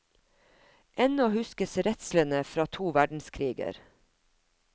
Ennå huskes redslene fra to verdenskriger.